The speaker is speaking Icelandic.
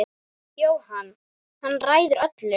Jóhann: Hann ræður öllu?